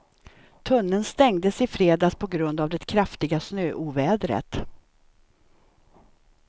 Tunneln stängdes i fredags på grund av det kraftiga snöovädret.